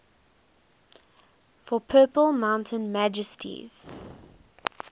for purple mountain majesties